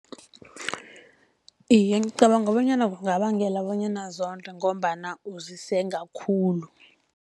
Iye, ngicabanga bonyana kungabangela bonyana zonde, ngombana uzisenga khulu.